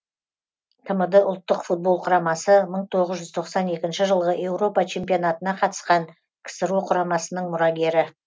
тмд ұлттық футбол құрамасы мың тоғыз жүз тоқсан екінші жылғы еуропа чемпионатына қатысқан ксро құрамасының мұрагері